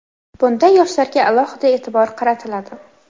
Bunda yoshlarga alohida e’tibor qaratiladi.